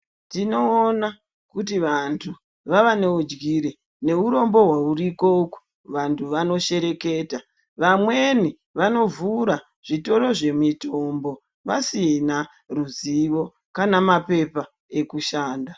Tinoona kuti vantu vava neunjire neurombo huripo uko, vantu vanoshereketa, vamweni vanovhura zvitoro zvemitombo vasina mutemo kana mapepa ekushanda.